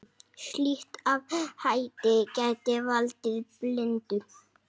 Slíkt athæfi gæti valdið blindu.